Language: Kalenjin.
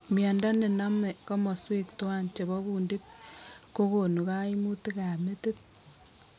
Miondo nename komoswek twan chebo kundit kogonu kaimutikab metit